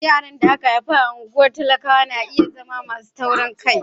Yaran da aka haifa a cikin unguwar talakawa na iya zama masu taurin kai.